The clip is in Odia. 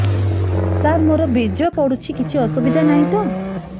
ସାର ମୋର ବୀର୍ଯ୍ୟ ପଡୁଛି କିଛି ଅସୁବିଧା ନାହିଁ ତ